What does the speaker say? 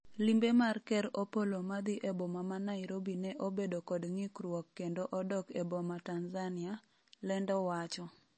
Limbe mar ker Opollo madhi eboma ma Nairobi ne obedo kod ng'ikruok kendo odok e boma Tanzania ,lendo wacho